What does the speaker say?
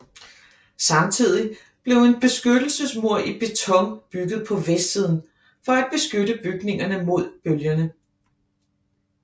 Samtidig blev en beskyttelsesmur i beton bygget på vestsiden for at beskytte bygningerne mod bølgerne